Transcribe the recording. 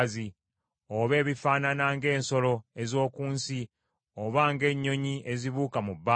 oba ebifaanana ng’ensolo ez’oku nsi, oba ng’ennyonyi ezibuuka mu bbanga,